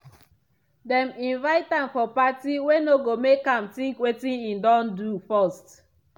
dem invite am for party wey no go make am think wetin e don first do.